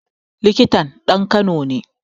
Likitan ɗan kano ne